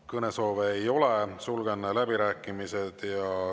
Kõnesoove ei ole, sulgen läbirääkimised.